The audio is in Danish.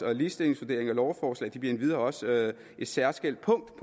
og ligestillingsvurdering af lovforslag er endvidere også et særskilt punkt